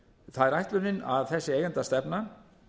það er ætlunin að þessi eigendastefna